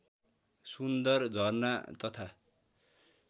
सुन्दर झरना तथा